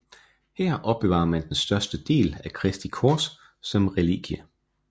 Her opbevarer man den største del af Kristi kors som relikvie